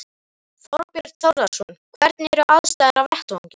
Þorbjörn Þórðarson: Hvernig eru aðstæður á vettvangi?